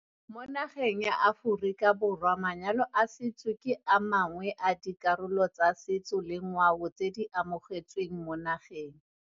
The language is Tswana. Mo nageng ya Aforika Borwa manyalo a setso ke amangwe a dikarolo tsa setso le ngwao tse di amogetsweng mo nageng.